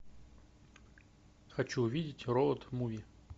хочу увидеть роуд муви